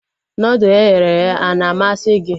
Nudụ eghere eghe ana amasị gị?